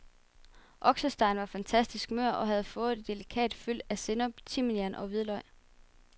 Oksestegen var fantastisk mør og havde fået et delikat fyld af sennep, timian og hvidløg.